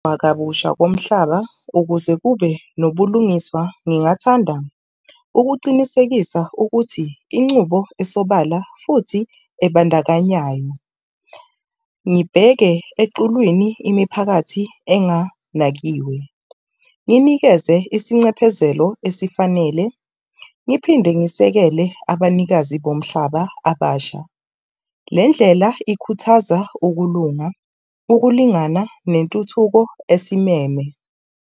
Kabusha komhlaba ukuze kube nobulungiswa. Ngingathanda ukucinisekisa ukuthi incubo isobala futhi ebandakanyayo. Ngibheke equlwini imiphakathi enganakiwe nginikeze isincephezelo esifanele ngiphinde ngisekele abanikazi bomhlaba abasha. Le ndlela ikhuthaza ukulunga, ukulingana nentuthuko esimeme.